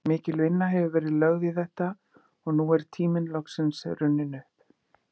Mikil vinna hefur verið lögð í þetta og nú er tíminn loksins runninn upp.